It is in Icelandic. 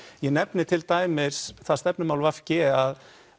ég nefni til dæmis það stefnumál v g að